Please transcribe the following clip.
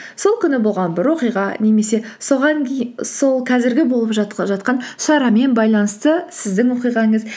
сол күні болған бір оқиға немесе сол қазіргі болып жатқан шарамен байланысты сіздің оқиғаңыз